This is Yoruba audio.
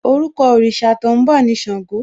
Orúkọ òrìṣà tó ń bọ̀ ni Ṣàngó